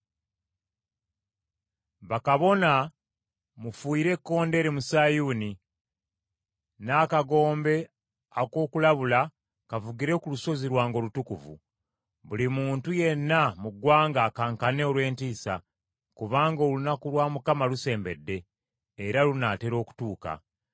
Bakabona mufuuyire ekkondeere mu Sayuuni. N’akagombe ak’okulabula kavugire ku lusozi lwange olutukuvu. Buli muntu yenna mu ggwanga akankane olw’entiisa, kubanga olunaku lwa Mukama lusembedde, era lunaatera okutuuka.